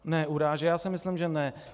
Ne urážet, já si myslím, že ne.